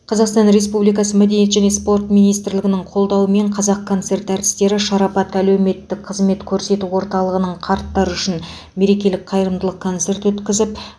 қазақстан республикасы мәдениет және спорт министрлігінің қолдауымен қазақконцерт әртістері шарапат әлеуметтік қызмет көрсету орталығының қарттар үшін мерекелік қайырымдылық концерт өткізіп